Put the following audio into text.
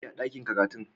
Me ake yi a dakin karatun?